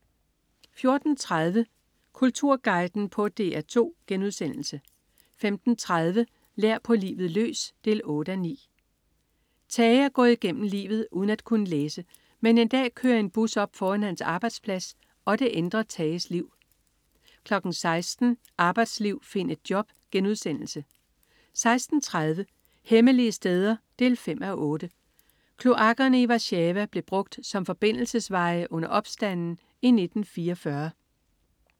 14.30 Kulturguiden på DR2* 15.30 Lær på livet løs 8:9. Tage er gået igennem livet uden at kunne læse, men en dag kører en bus op foran hans arbejdsplads, og det ændrer Tages liv 16.00 Arbejdsliv, find et job* 16.30 Hemmelige steder 5:8. Kloakkerne i Warszawa blev brugt som forbindelsesveje under opstanden i 1944